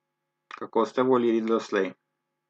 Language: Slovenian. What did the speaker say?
Kako ste volili doslej?